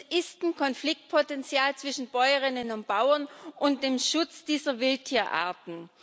Es gibt ein Konfliktpotential zwischen Bäuerinnen und Bauern und dem Schutz dieser Wildtierarten.